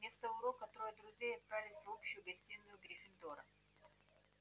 вместо урока трое друзей отправились в общую гостиную гриффиндора